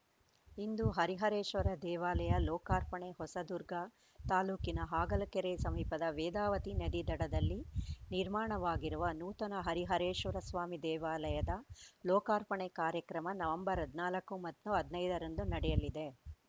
ಇಂದು ಹರಿಹರೇಶ್ವರ ದೇವಾಲಯ ಲೋಕಾರ್ಪಣೆ ಹೊಸದುರ್ಗ ತಾಲೂಕಿನ ಹಾಗಲಕೆರೆ ಸಮೀಪದ ವೇದಾವತಿ ನದಿ ದಡದಲ್ಲಿ ನಿರ್ಮಾಣವಾಗಿರುವ ನೂತನ ಹರಿಹರೇಶ್ವರ ಸ್ವಾಮಿ ದೇವಾಲಯದ ಲೋಕಾರ್ಪಣೆ ಕಾರ್ಯಕ್ರಮ ನವೆಂಬರ್ ಹದ್ನಾಲ್ಕು ಮತ್ತು ಹದ್ನೈದರಂದು ನಡೆಯಲಿದೆ